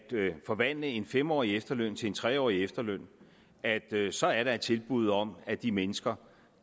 forvandle en fem årig efterløn til en tre årig efterløn så er der et tilbud om at de mennesker